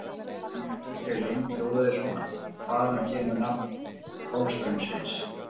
Spurningin í fullri lengd hljóðaði svona: Hvaðan kemur nafn Golfstraumsins?